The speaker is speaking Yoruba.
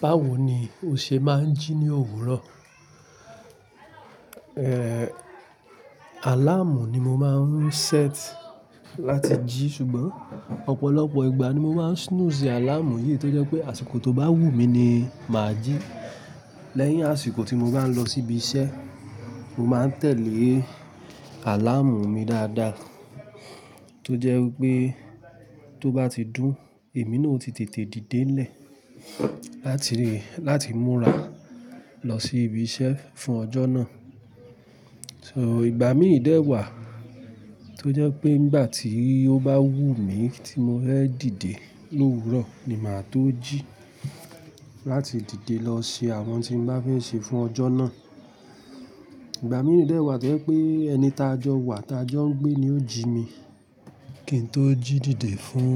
Báwo ni o ṣe máa ń jí ní òwúrọ̀? Eh, àláàmù ni mo máa ń set láti jí ṣùgbọ́n ọ̀pọ̀lọpọ̀ ìgbà ni mo máa snooze àláàmù yìí tó jẹ́ pé àsìkò tó bá wù mí ni màá jí. Lẹ́yìn àsìkò tí mo bá ń lọ síbi iṣẹ́, mo máa ń tẹ̀lé àláàmù mi dáadáa tó jẹ́ wipé tó bá ti dún, èmi náà ó ti tètè dìde ńlẹ̀ láti rí, láti múra lọ sí ibi iṣẹ́ fún ọjọ́ náà. So ìgbà míi dẹ́ wà tó jẹ́ wipé nígbà tí ó bá wù mí tí mo fẹ́ dìde lòwúrọ̀ ni mà á tó jí láti dìde lọ ṣe àwọn n tí n bá fẹ́ ṣe fún ọjọ́ náà. Ìgbà miì dẹ́ wà tó jẹ́ pé ẹni taa jọ wa taa jọ ń gbé ni ó jí mi, kí n tó jí dìde fún